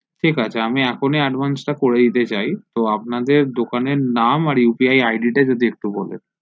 ঠিক আছে আমি এখনই advice টা করে দিতে চাই তো আপনার দোকানের নাম আর upi id যদি একটু বলেন